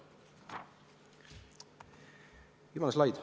Viimane slaid.